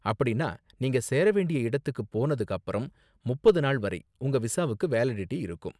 அப்படின்னா நீங்க சேர வேண்டிய இடத்துக்கு போனதுக்கு அப்பறம் முப்பது நாள் வரை உங்க விசாவுக்கு வேலிடிட்டி இருக்கும்.